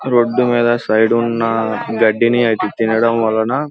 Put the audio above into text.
road మీద side ఉన్న గడ్డిని తినడం వలన --